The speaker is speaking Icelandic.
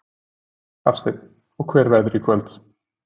Hafsteinn: Og hver verðurðu í kvöld?